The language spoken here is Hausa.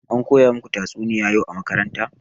Ankoya muku tatsuniya yau a makaranta?